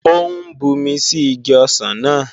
Ó ń bumi sí igi ọsàn náà